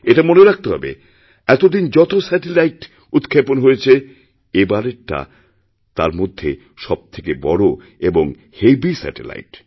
এটা মনে রাখতে হবে এতদিন যতস্যাটেলাইট উৎক্ষেপণ হয়েছে এবারেরটা তার মধ্যে সবথেকে বড় এবং হেভি স্যাটেলাইট